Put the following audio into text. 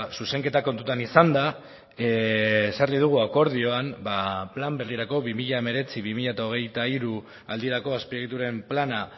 zuzenketak kontutan izanda ezarri dugu akordioan plan berrirako bi mila hemeretzi bi mila hogeita hiru aldirako azpiegituren plana